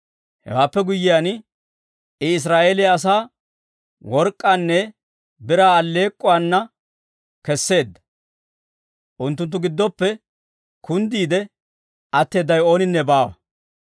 Hewaappe guyyiyaan, I Israa'eeliyaa asaa work'k'aanne biraa alleek'k'uwaana kesseedda; unttunttu giddoppe kunddiide atteedawe ooninne baawa.